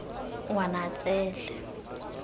ngwanatsele